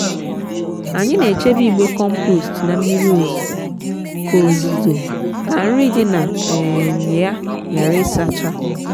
anyị n’echebe igbe compost na mmiri ozuzo ka ozuzo ka nri di na um ya ghara ịsacha.